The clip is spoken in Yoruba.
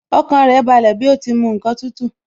Ọkàn rẹ̀ balẹ̀ bí ó ti mu ǹkan tútù